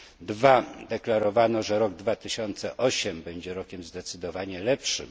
Drugi deklarowano, że rok 2008 będzie rokiem zdecydowanie lepszym.